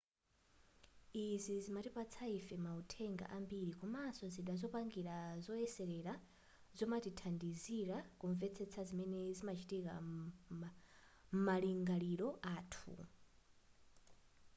izi zimatipatsa ife mauthenga ambiri komanso zida zopangira zoyeserera zomatithandizira kumvetsetsa zimene zimachitika m'malingaliro athu